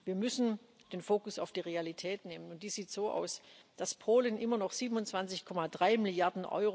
Wir müssen den Fokus auf die Realität legen, und die sieht so aus, dass Polen immer noch 27,3 Mrd.